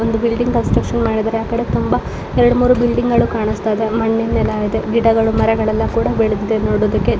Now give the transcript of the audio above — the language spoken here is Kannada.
ಒಂದು ಬಿಲ್ಡಿಂಗ್ ಕನ್ಸ್ಟ್ರಕ್ಷನ್ ಮಾಡಿದರೆ ಆ ಕಡೆ ತುಂಬ ಮೂರೂ ಬಿಲ್ಡಿಂಗಗಳು ಕಾಣಸ್ತಾ ಇದೆ. ಗಿಡಗಳು ಮರಗಳು ಎಲ್ಲಾ ಬೆಳೆದಿದೆ ನೋಡೋದಕ್ಕೆ--